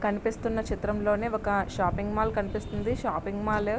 కనిపిస్తున్నా చిత్రంలోని ఒక షాపింగ్ మాల్ కనిపిస్తున్నది. Shopping mall --